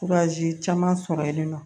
caman sɔrɔ yen nɔ